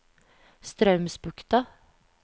Straumsbukta